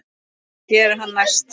Hvað gerir hann næst?